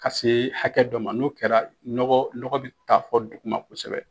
Ka se hakɛ dɔ ma, n'o kɛra nɔgɔ bɛ taa fɔ duguma kosɛbɛ.